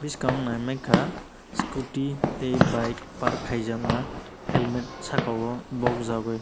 swkang nai mngka scooty tei bike park khaijakma halmet saka o bog jagui.